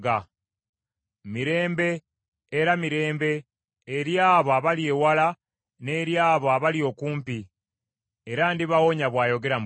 Mirembe, era mirembe, eri abo abali ewala n’eri abo abali okumpi, era ndibawonya,” bw’ayogera Mukama .